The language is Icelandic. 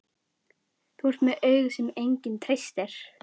Þú ert með augu sem enginn treystir.